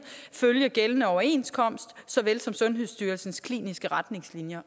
følge gældende overenskomst såvel som sundhedsstyrelsens kliniske retningslinjer